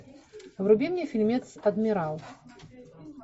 вруби мне фильмец адмирал